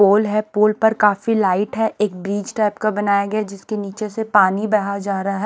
पोल है पोल पर काफी लाइट है एक ब्रिज टाइप का बनाया गया जिसके नीचे से पानी बाहर जा रहा है।